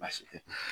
Baasi tɛ